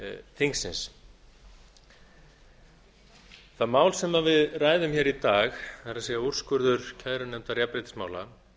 þingsins það mál sem við ræðum hér í dag það er úrskurður kærunefndar jafnréttismála